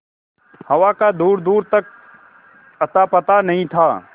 हवा का दूरदूर तक अतापता नहीं था